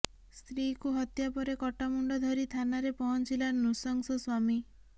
ସ୍ତ୍ରୀକୁ ହତ୍ୟା ପରେ କଟାମୁଣ୍ଡ ଧରି ଥାନାରେ ପହଞ୍ଚିଲା ନୃଶଂସ ସ୍ୱାମୀ